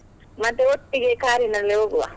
ಮತ್ತೆ ಒಟ್ಟಿಗೆ car ಇನಲ್ಲಿ ಹೋಗುವ.